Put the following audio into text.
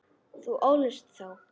Þú ólst þá.